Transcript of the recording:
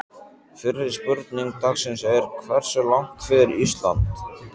Fyrri spurning dagsins er: Hversu langt fer Ísland?